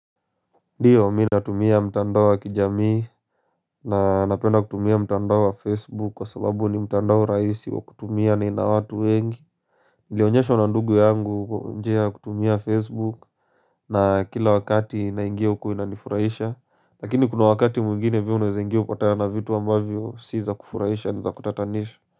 Ndiyo minatumia mtandao wa kijamii na napenda kutumia mtandao wa facebook kwa sababu ni mtandao rahisi wa kutumia ni na watu wengi nilionyeshwa na ndugu yangu njia kutumia facebook na kila wakati naingiwa kuhu inanifuraisha Lakini kuna wakati mwingine pia unawezaingiwa upatane na vitu ambavyo si za kufuraisha ni za kutatanisha.